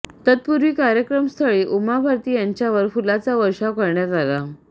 तत्पूर्वी कार्यक्रमस्थळी उमा भारती यांच्यावर फुलांचा वर्षाव करण्यात आला